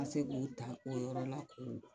A se k'u ta o yɔrɔ la